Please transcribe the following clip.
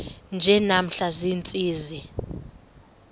nje namhla ziintsizi